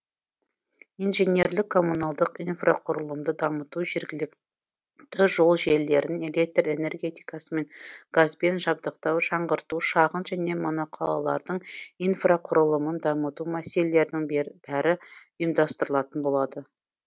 инженерлік коммуналдық инфрақұрылымды дамыту жергілікті жол желілерін электр энергетикасымен газбен жабдықтау жаңғырту шағын және моноқалалардың инфрақұрылымын дамыту мәселелерінің бәрі ұйымдастырылатын болады